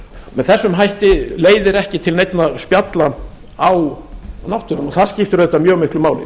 með þessum hætti leiðir ekki til neinna spjalla á náttúrunni það skiptir auðvitað mjög miklu